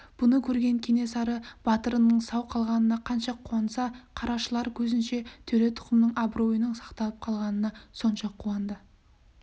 бұны көрген кенесары батырының сау қалғанына қанша қуанса қарашылар көзінше төре тұқымының абыройының сақталып қалғанына сонша қуанды